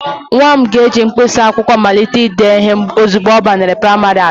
Nwa m ga-eji mkpịsị akwụkwọ malite ide ihe ozugbo ọ banyere praịmarị atọ.